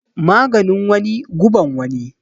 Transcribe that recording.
Maganin wani guban wani